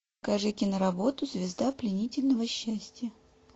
покажи киноработу звезда пленительного счастья